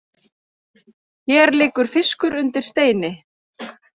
Hér liggur fiskur undir steini